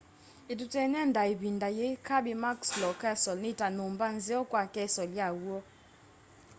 ituteny'e nda ivinda yii kirby muxloe castle ni ta nyumba nzeo kwi castle ya w'o